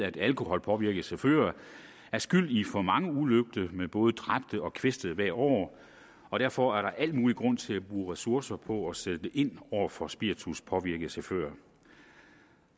at alkoholpåvirkede chauffører er skyld i for mange ulykker med både dræbte og kvæstede hvert år og derfor er der al mulig grund til at bruge ressourcer på at sætte ind over for spirituspåvirkede chauffører